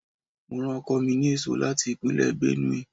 Mo rán ọkọ mi ní èso láti Ìpínlẹ̀ Benue.